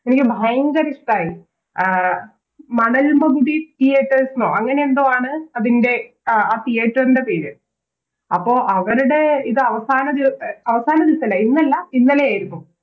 എനിക്ക് ഭയങ്കര ഇഷ്ട്ടായി മണൽ മകുതി Theaters ന്നോ അങ്ങനെ എന്തോ ആണ് അതിൻറെ ആ Theater ൻറെ പേര് അപ്പൊ അവരുടെ ഇതവസാനദിവ അവസാനദിവസല്ല ഇന്നല്ല ഇന്നലെയായിരുന്നു